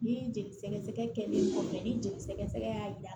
Ni jeli sɛgɛ sɛgɛlen kɔfɛ ni jeli sɛgɛsɛgɛ y'a yira